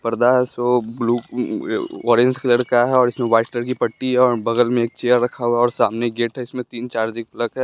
पर्दा है सो ब्लू उ ऑरेंज कलर का है और इसमें वाइट कलर की पट्टी है और बगल में एक चेयर रखा हुआ है और सामने गेट है इसमें तीन चार्जिंग प्लग है।